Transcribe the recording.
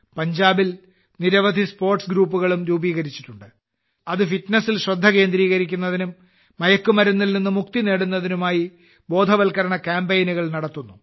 പഞ്ചാബിൽ നിരവധി സ്പോർട്സ് ഗ്രൂപ്പുകളും രൂപീകരിച്ചിട്ടുണ്ട് അത് ഫിറ്റ്നസിൽ ശ്രദ്ധ കേന്ദ്രീകരിക്കുന്നതിനും മയക്കുമരുന്നിൽനിന്നും മുക്തി നേടുന്നതിനുമായി ബോധവൽക്കരണ കാമ്പെയ്നുകൾ നടത്തുന്നു